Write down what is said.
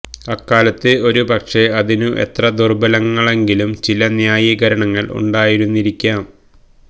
അക്കാലത്ത് ഒരു പക്ഷേ അതിനു എത്ര ദുർബലങ്ങളെങ്കിലും ചില ന്യായീകരണങ്ങൾ ഉണ്ടായിരുന്നിരിക്കാം